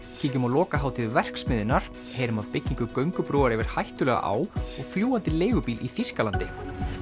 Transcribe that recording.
kíkjum á lokahátíð verksmiðjunnar heyrum af byggingu göngubrúar yfir hættulega á og fljúgandi leigubíl í Þýskalandi